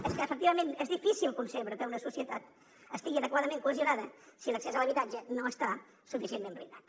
i és que efectivament és difícil concebre que una societat estigui adequadament cohesionada si l’accés a l’habitatge no està suficientment blindat